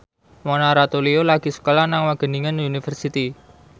Mona Ratuliu lagi sekolah nang Wageningen University